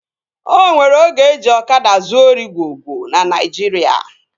O nwere oge eji ọkada zuo ori gwo gwo na Naijiria